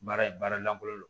Baara baara lankolon don